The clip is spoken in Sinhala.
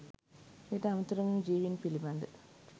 එයට අමතරව මෙම ජීවීන් පිළිබඳ